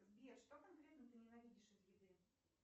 сбер что конкретно ты ненавидишь из еды